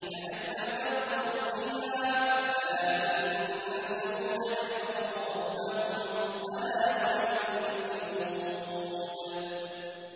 كَأَن لَّمْ يَغْنَوْا فِيهَا ۗ أَلَا إِنَّ ثَمُودَ كَفَرُوا رَبَّهُمْ ۗ أَلَا بُعْدًا لِّثَمُودَ